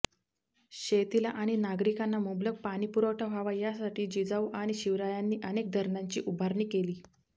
शेतीला आणि नागरिकांना मुबलक पाणीपुरवठा व्हावा यासाठी जिजाऊ आणि शिवरायांनी अनेक धरणांची उभारणी केली